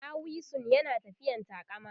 ɗawisun yana tafiyan taƙama